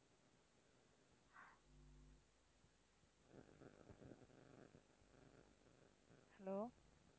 Hello